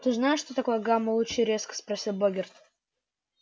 ты знаешь что такое гамма-лучи резко спросил богерт